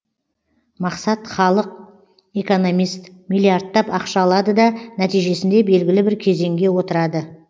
мақсат халық экономист миллиардтап ақша алады да нәтижесінде белгілі бір кезеңге отырады